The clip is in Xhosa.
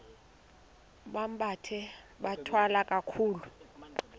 bambathe bathwale kakuhle